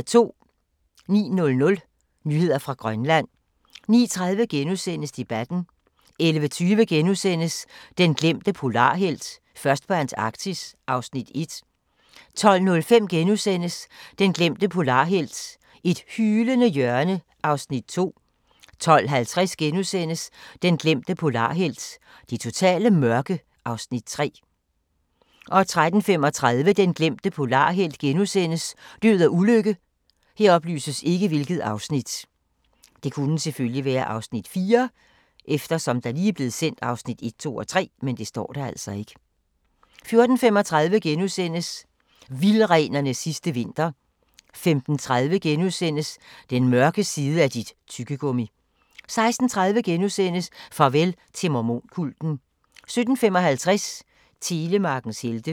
09:00: Nyheder fra Grønland 09:30: Debatten * 11:20: Den glemte polarhelt: Først på Antarktis (Afs. 1)* 12:05: Den glemte polarhelt: Et hylende hjørne (Afs. 2)* 12:50: Den glemte polarhelt: Det totale mørke (Afs. 3)* 13:35: Den glemte polarhelt: Død og ulykke * 14:35: Vildrenens sidste vinter * 15:30: Den mørke side af dit tyggegummi! * 16:30: Farvel til mormon-kulten * 17:55: Telemarkens helte